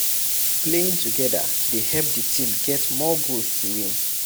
Playing together dey help di team get more goals to win